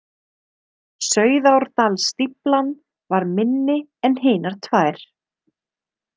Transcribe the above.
Sauðárdalsstíflan var minni en hinar tvær.